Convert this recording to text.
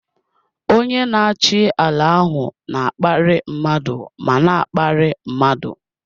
Onye na-achị ala ahụ na-akparị mmadụ ma na-akparị mmadụ.